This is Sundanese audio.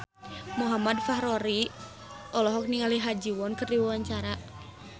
Muhammad Fachroni olohok ningali Ha Ji Won keur diwawancara